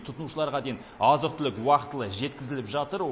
тұтынушыларға дейін азық түлік уақытылы жеткізіліп жатыр